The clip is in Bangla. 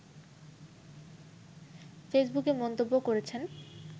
ফেসবুকে মন্তব্য করেছেন